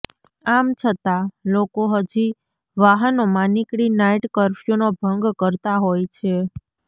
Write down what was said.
આમ છતાં લોકો હજુ વાહનોમાં નીકળી નાઇટ કર્ફ્યૂનો ભંગ કરતા હોય છે